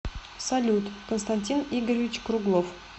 салют константин игоревич круглов